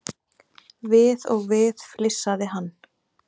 Við og við flissaði hann.